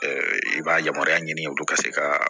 i b'a yamaruya ɲini olu ka se ka